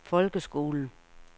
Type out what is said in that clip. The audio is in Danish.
folkeskolen